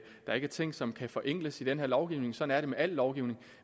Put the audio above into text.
der ikke er ting som kan forenkles i den her lovgivning sådan er det med al lovgivning